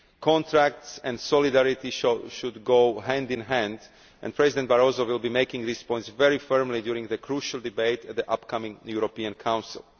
Contracts and solidarity should go hand in hand and President Barroso will be making these points very firmly during the crucial debate at the upcoming European Council.